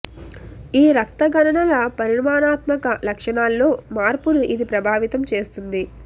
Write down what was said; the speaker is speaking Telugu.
ఈ రక్త గణనల పరిమాణాత్మక లక్షణాల్లో మార్పును ఇది ప్రభావితం చేస్తుంది